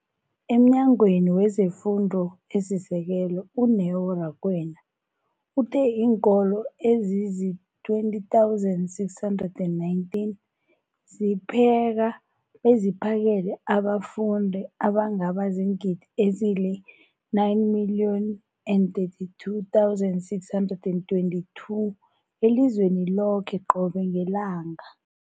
EmNyangweni wezeFundo esiSekelo, u-Neo Rakwena, uthe iinkolo ezizi-20 619 zipheka beziphakele abafundi abangaba ziingidi ezili-9 032 622 elizweni loke qobe ngelanga.